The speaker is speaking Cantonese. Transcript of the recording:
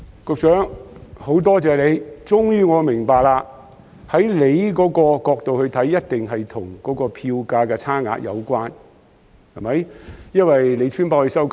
局長，很多謝你，我終於明白，從局長的角度來看，一定是與票價的差額有關，對嗎？